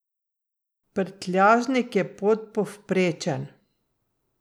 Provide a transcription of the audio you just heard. Prtljažnik je podpovprečen.